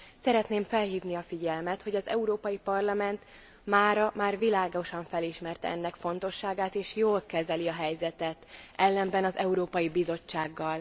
Szeretném felhívni a figyelmet, hogy az Európai Parlament mára már világosan felismerte ennek fontosságát és jól kezeli a helyzetet, ellenben az Európai Bizottsággal.